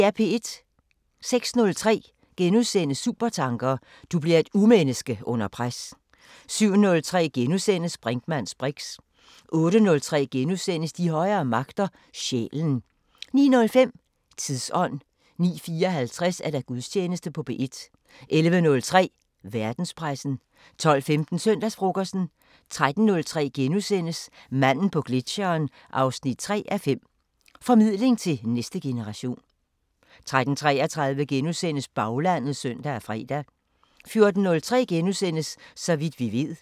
06:03: Supertanker: Du bliver et urmenneske under pres * 07:03: Brinkmanns briks * 08:03: De højere magter: Sjælen * 09:05: Tidsånd 09:54: Gudstjeneste på P1 11:03: Verdenspressen 12:15: Søndagsfrokosten 13:03: Manden på gletscheren 3:5 – Formidling til næste generation * 13:33: Baglandet *(søn og fre) 14:03: Så vidt vi ved *